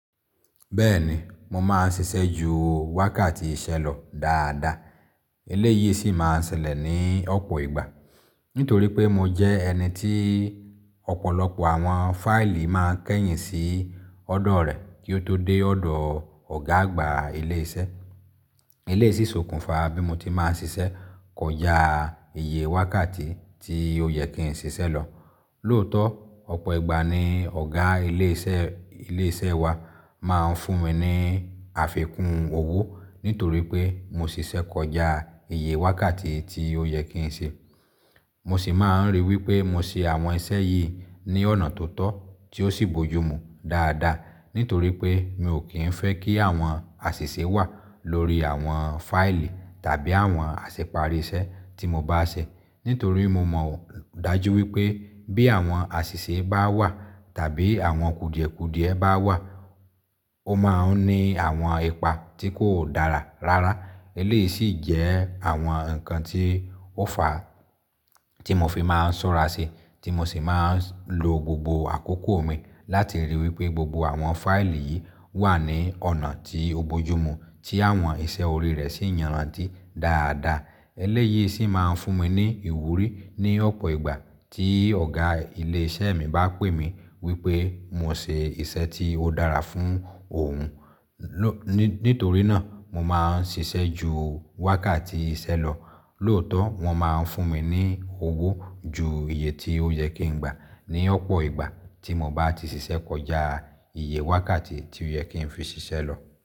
Bẹ́ẹ̀ni, mo máa ń ṣiṣẹ́ ju wákàtí iṣẹ́ lọ dáadáa. Eléyìí sì máa ń ṣẹlẹ̀ ní ọ̀pọ̀ ìgbà. Nítorí pé mo jẹ́ ẹni tí ọ̀pọ̀lọpọ̀ àwọn fáìlì máa ń kẹ́yìn sí ọ̀dọ̀ rẹ kí ó tó dé ọ̀dọ̀ ọ̀gá àgbà ilé iṣẹ́. Eleyii si ṣòkùnfà bí mo ti máa ń ṣiṣẹ́ kọjá iye wákàtí tí ó yẹ kí n ṣiṣẹ́ lọ. Lóòótọ́, ọ̀pọ̀ ìgbà ni Ọ̀gá ilé iṣẹ́, ilé iṣẹ́ wa máa ń fún mi ní àfikún owó nítorí pé mo ṣiṣẹ́ kọjá iye wákàtí tí ó yẹ kí n ṣe. Mo sì máa ń ríi wí pé mo ṣe àwọn iṣẹ́ yìí ní ọ̀nà tó tọ́ tí ó sì bojúmu dáadáa. Nítorí pé mi ò kí ń fẹ́ kí àwọn àṣìṣe wà lórí àwọn fáìlì tàbí àwọn àṣẹ pàrìṣẹ́ tí mo bá ṣe. Nítorí mo mọ dájú wí pé bí àwọn àṣìṣe bá wà tàbí àwọn kùdìẹ̀kùdìẹ bá wà, ó máa ń ní àwọn ipa tí kò dára rárá. Eléyìí sì jẹ́ àwọn nǹkan tí ó fa tí mo fi máa ń ṣọ́ra ṣe, tí mo sì máa ń lo gbogbo àkókò mi láti rí i wí pé gbogbo àwọn fáìlì yìí wà ní ọ̀nà tí ó bojúmu tí àwọn iṣẹ́ orí rẹ̀ sì yanranty dáadáa. Eléyìí sì máa ń fún mi ní ìwúrí ní ọ̀pọ̀ ìgbà tí ọ̀gá ilé iṣẹ́ mi bá pè mí wí pé mo ṣe iṣẹ́ tí ó dára fún òun. Nítorí náà mo máa ń ṣiṣẹ́ ju wákàtí iṣẹ́ lọ. Lóòótọ́ wọn máa ń fún mi ní owó ju iye tí ó yẹ kí n gba ní ọ̀pọ̀ ìgbà tí mo bá ti ṣiṣẹ́ kọjá iye wákàtí tí ó yẹ kí n fi ṣiṣẹ́ lọ.